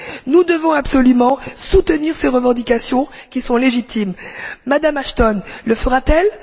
Nous devons absolument soutenir ces revendications, qui sont légitimes. Mme Ashton le fera t elle?